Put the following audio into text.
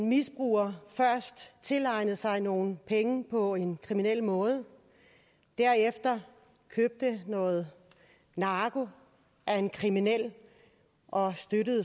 misbrugere først tilegnede sig nogle penge på en kriminel måde derefter købte noget narko af en kriminel og